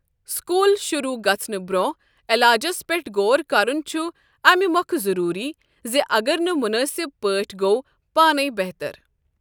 School شروٗع گژھنہٕ برٛونٛہہ علاجَس پیٹھ غور کرُن چھُ اَمہِ مۄکھٕ ضروٗری زِ اگر نہٕ مُنٲسِب پٲٹھۍ گوٚو پانٕے بہتَر۔